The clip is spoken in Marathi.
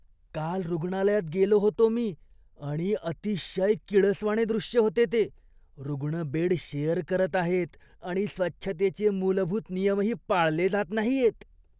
काल रुग्णालयात गेलो होतो मी आणि अतिशय किळसवाणे दृश्य होते ते. रुग्ण बेड शेअर करत आहेत आणि स्वच्छतेचे मूलभूत नियमही पाळले जात नाहीयेत.